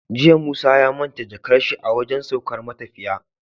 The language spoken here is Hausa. Jiya musa ya manta jakar shi a wajan saukar matafiya